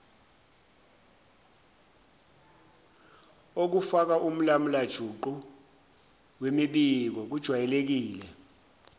okufakaumlamulajuqu wemibiko kujwayelekile